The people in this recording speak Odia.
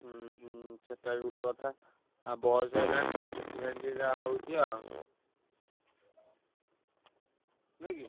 ହୁଁ ହୁଁ ସେ ଟା ବି ଗୋଟେ କଥା। ଆଉ ବୟସ ହେଲାଣି ତ ସେଥିପାଇଁ ଟିକେ ଯାହା ହଉଛି ଆଉ ନୁହେଁ କି?